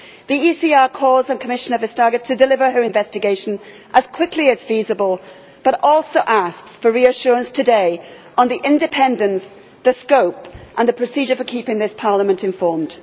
The ECR calls on Commissioner Vestager to deliver her investigation as quickly as is feasible but also asks for reassurance today on the independence, the scope and the procedure for keeping this Parliament informed.